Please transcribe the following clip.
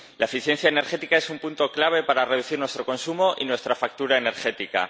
La eficiencia energética es un punto clave para reducir nuestro consumo y nuestra factura energética.